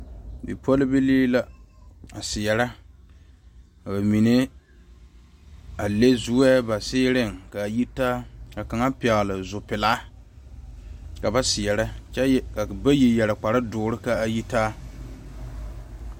Bipɔlbilii la a seɛre ka ba mine a leŋ zoɛ ba seereŋ ka ba yitaa, ka kaŋa pɛgeli zopelaa, ka ba seɛre ka bayi yɛre. kpare doɔre ka a yitaa